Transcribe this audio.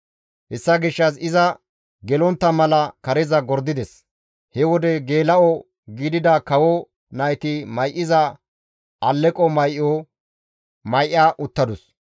Hessa gishshas iza gelontta mala kareza gordides; he wode geela7o gidida kawo nayti may7iza alleqo may7o may7a uttadus.